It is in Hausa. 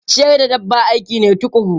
Ciyar da dabba aiki ne tukuru.